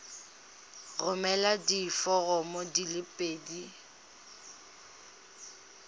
romela diforomo di le pedi